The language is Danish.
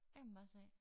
Der kan man bare se